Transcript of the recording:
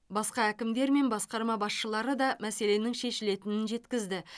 басқа әкімдер мен басқарма басшылары да мәселенің шешілетінін жеткізді